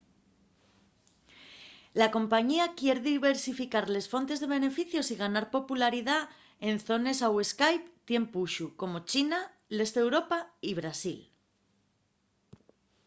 la compañía quier diversificar les fontes de beneficios y ganar popularidá en zones au skype tien puxu como china l'este d'europa y brasil